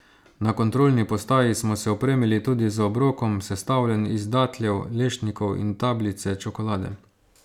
Na kontrolni postaji smo se opremili tudi z obrokom, sestavljen iz datljev, lešnikov in tablice čokolade.